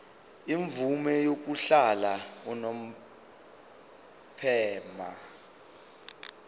imvume yokuhlala unomphema